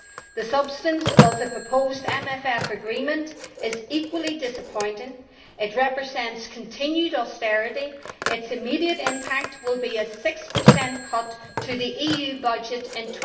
The substance of the proposed MFF agreement is equally disappointing. It represents continued austerity its immediate impact will be a 6 cut to the EU budget in